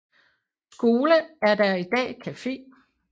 Skole er der i dag cafe